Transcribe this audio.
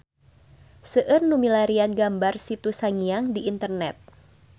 Seueur nu milarian gambar Situ Sangiang di internet